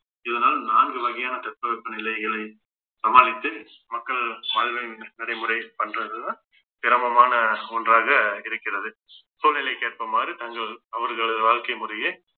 இதனால் நான்கு வகையான தட்பவெப்ப நிலைகளை சமாளித்து மக்கள் நடைமுறை பண்றதுதான் சிரமமான ஒன்றாக இருக்கிறது சூழ்நிலைக்கேற்பமாறு தங்கள் அவர்களது வாழ்க்கை முறையை